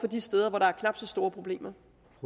de steder hvor der er knap så store problemer